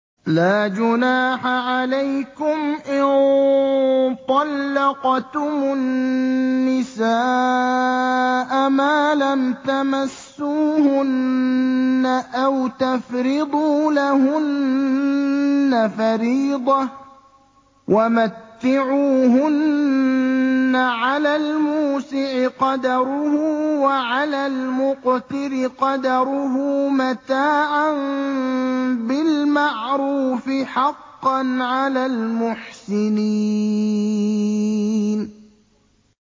لَّا جُنَاحَ عَلَيْكُمْ إِن طَلَّقْتُمُ النِّسَاءَ مَا لَمْ تَمَسُّوهُنَّ أَوْ تَفْرِضُوا لَهُنَّ فَرِيضَةً ۚ وَمَتِّعُوهُنَّ عَلَى الْمُوسِعِ قَدَرُهُ وَعَلَى الْمُقْتِرِ قَدَرُهُ مَتَاعًا بِالْمَعْرُوفِ ۖ حَقًّا عَلَى الْمُحْسِنِينَ